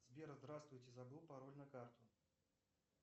сбер здравствуйте забыл пароль на карту